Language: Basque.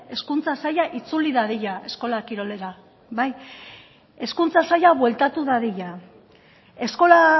hezkuntza saila itzuli dadila eskola kirolera hezkuntza saila bueltatu dadila eskola